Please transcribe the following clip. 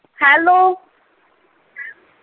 hello